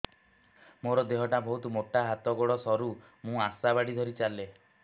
ମୋର ଦେହ ଟା ବହୁତ ମୋଟା ହାତ ଗୋଡ଼ ସରୁ ମୁ ଆଶା ବାଡ଼ି ଧରି ଚାଲେ